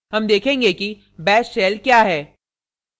हम देखेंगे कि bash shell we है